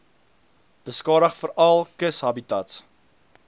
beskadig veral kushabitats